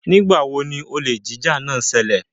Nigba wo ni olè jíjà náà ṣẹlẹ?